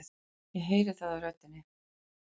Ég heyri það á röddinni.